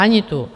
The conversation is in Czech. Ani tu.